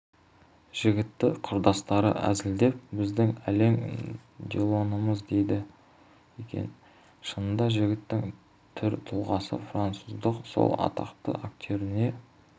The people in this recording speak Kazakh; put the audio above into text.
жігітті құрдастары әзілдеп біздің ален делонымыз дейді екен шынында жігіттің түр-тұлғасы француздың сол атақты актеріне